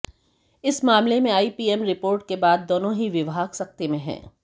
इस मामले में आई पीएम रिपोर्ट के बाद दोनों ही विभाग सकते में हैं